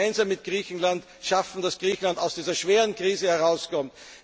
wir geben. Wir wollen es gemeinsam mit Griechenland schaffen, dass Griechenland aus dieser schweren Krise